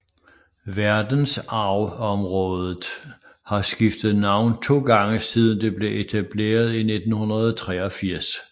Verdensarvsområdet har skiftet navn to gange siden det blev etableret i 1983